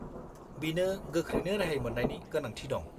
बिनो गोख्रैनो रेहाय मोन्नायनि गोनांथि दं।